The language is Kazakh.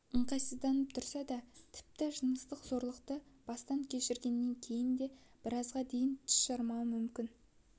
ыңғайсызданып тұрады ол тіпті жыныстық зорлықты бастан кешіргеннен кейін де біразға дейін тіс жармауы мүмкін